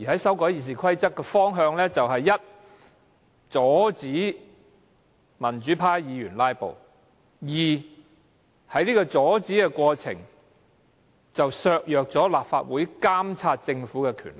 修訂《議事規則》有兩個大方向：第一，阻止民主派議員"拉布"；第二，在阻止"拉布"的過程中，削弱立法會監察政府的權力。